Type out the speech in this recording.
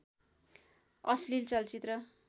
अश्लील चलचित्र